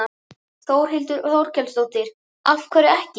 Þórhildur Þorkelsdóttir: Af hverju ekki?